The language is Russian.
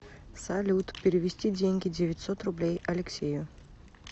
салют перевести деньги девятьсот рублей алексею